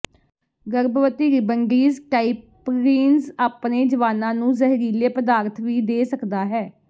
ਗਰਭਵਤੀ ਰਿਬਨਡਿਜ਼ ਟਾਇਪਰੀਨਜ਼ ਆਪਣੇ ਜਵਾਨਾਂ ਨੂੰ ਜ਼ਹਿਰੀਲੇ ਪਦਾਰਥ ਵੀ ਦੇ ਸਕਦਾ ਹੈ